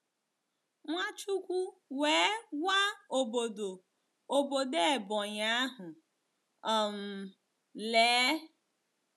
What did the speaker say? Nwachukwu wee gwa obodo obodo Ebonyi ahu um: “ Lee!